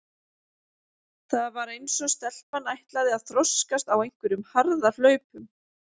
Það var eins og stelpan ætlaði að þroskast á einhverjum harðahlaupum.